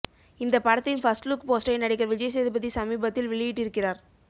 இந்த படத்தின் first look போஸ்டரை நடிகர் விஜய்சேதுபதி சமீபத்தில் வெளியிட்டிருக்கிறார்